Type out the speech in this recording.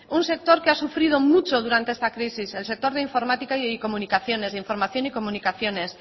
un sector que ha sufrido mucho durante esta crisis el sector de informática y comunicaciones de información y comunicaciones